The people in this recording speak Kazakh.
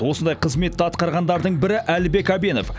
осындай қызметті атқарғандардың бірі әлібек әбенов